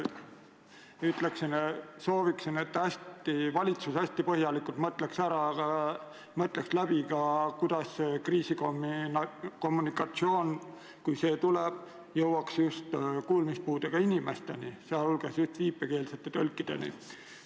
Aga ma sooviksin, et valitsus hästi põhjalikult mõtleks läbi, kuidas kriisiinfo, kui see tuleb, jõuaks ka kuulmispuudega inimesteni, sealhulgas viipekeelsete tõlkideni.